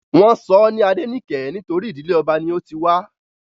Wọ́n sọ ọ́ ní Adenike nítorí ìdílé ọba ni ó ti wá